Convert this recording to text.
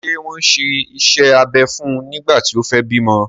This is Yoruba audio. Ṣé wọ́n ṣe iṣẹ́ abẹ fún nígbà tí o fẹ bímọ?